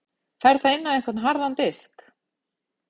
Fer það inn á einhvern harðan disk?